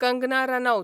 Kangana Ranaut